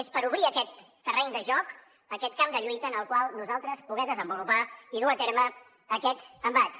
és per obrir aquest terreny de joc aquest camp de lluita en el qual nosaltres poder desenvolupar i dur a terme aquests embats